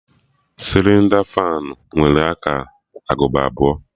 Sịlịnda fanụ nwere aka agụba atọ